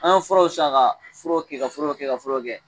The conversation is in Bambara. An ye furaw san ka furaw kɛ ka furaw kɛ ka furaw kɛ